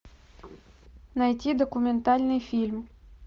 найти документальный фильм